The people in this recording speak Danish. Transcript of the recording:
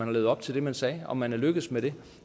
levet op til det man sagde om man er lykkedes med det